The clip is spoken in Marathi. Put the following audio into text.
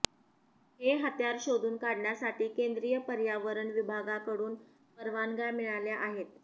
हे हत्यार शोधून काढण्यासाठी केंद्रीय पर्यावरण विभागाकडून परवानग्या मिळाल्या आहेत